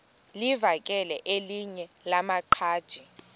livakele elinye lamaqhaji